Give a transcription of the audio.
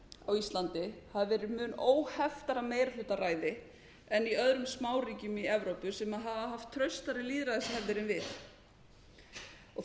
á íslandi hafi verið mun óheftara meirihlutaræði en í öðrum smáríkjum í evrópu sem hafa haft traustari lýðræðishefðir en við